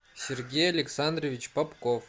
сергей александрович попков